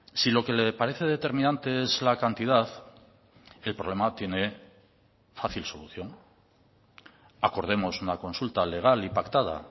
si lo que le parece determinante es la cantidad el problema tiene fácil solución acordemos una consulta legal y pactada